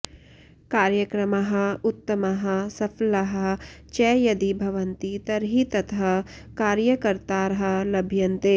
कार्यक्रमाः उत्तमाः सफलाः च यदि भवन्ति तर्हि ततः कार्यकर्तारः लभ्यन्ते